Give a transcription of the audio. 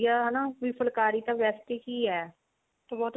ਵੀ ਹਨਾ ਫੁਲਾਕਰੀ ਤਾਂ ਵੇਸੇ ਹੀ ਆ ਤੇ